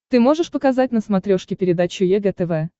ты можешь показать на смотрешке передачу егэ тв